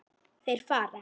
Þeir fara.